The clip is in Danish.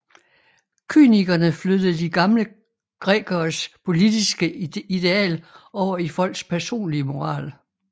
Kynikerne flyttede de gamle grækeres politiske ideal over i folks personlige moral